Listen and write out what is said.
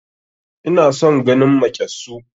Ina son ganin maƙyassu